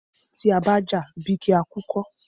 Tí a bá jà, bí kí á kú kọ́.